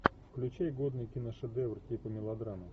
включай годный киношедевр типа мелодрамы